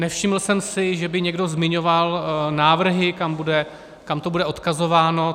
Nevšiml jsem si, že by někdo zmiňoval návrhy, kam to bude odkazováno.